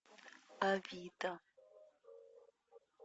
авито